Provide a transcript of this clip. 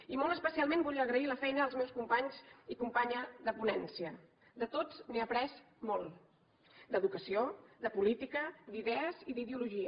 i molt especialment volia agrair la feina als meus companys i companya de ponència de tots n’he après molt d’educació de política d’idees i d’ideologia